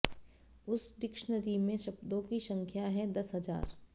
उस डिक्शनरी में शब्दों की संख्या है दस हजार